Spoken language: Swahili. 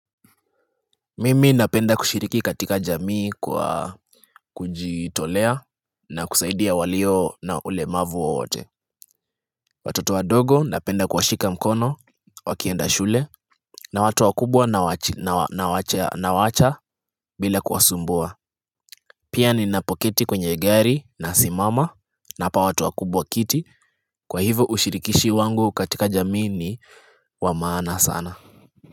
Mimi napenda kushiriki katika jamii kwa kujitolea na kusaidia walio na ulemavu wowote. Watoto wadogo napenda kuwashika mkono wakienda shule na watu wakubwa nawaacha bila kuwasumbua. Pia ninapoketi kwenye gari nasimama nawapa watu wakubwa kiti, kwa hivyo ushirikishi wangu katika jamii ni wa maana sana.